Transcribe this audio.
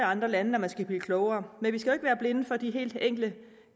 andre lande når man skal blive klogere men vi skal jo ikke være blinde for de helt enkle